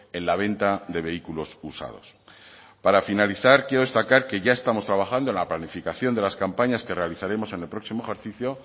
en la venta de vehículos usados para finalizar quiero destacar que ya estamos trabajando en la planificación de las campañas que realizaremos en el próximo ejercicio